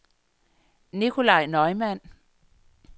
Nicolaj Neumann